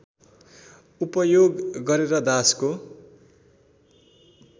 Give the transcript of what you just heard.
उपयोग गरेर दासको